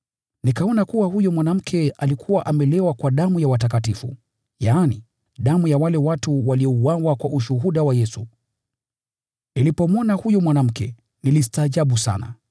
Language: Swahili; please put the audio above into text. Nikaona kuwa huyo mwanamke alikuwa amelewa kwa damu ya watakatifu, yaani, damu ya wale watu waliouawa kwa ushuhuda wa Yesu. Nilipomwona huyo mwanamke, nilistaajabu sana.